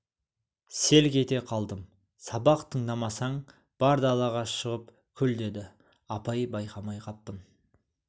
селк ете қалдым сабақ тыңдамасаң бар далаға шығып күл деді апай байқамай қаппын